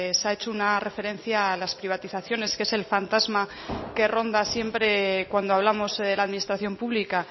se ha hecho una referencia a las privatizaciones que es el fantasma que ronda siempre cuando hablamos de la administración pública